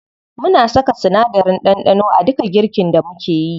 Muna saka sinadarin ɗanɗano a duka girkin da mukeyi.